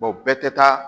bɛɛ tɛ taa